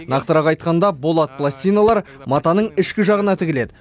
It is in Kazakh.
нақтырақ айтқанда болат пластиналар матаның ішкі жағына тігіледі